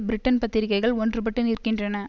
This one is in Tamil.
பிரிட்டன் பத்திரிகைகள் ஒன்றுபட்டு நிற்கின்றன